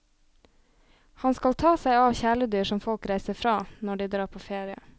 Han skal ta seg av kjæledyr som folk reiser fra, når de drar på ferie.